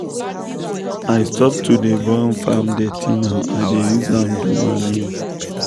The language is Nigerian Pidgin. i stop to dey burn farm dirty now i dey use am do manure.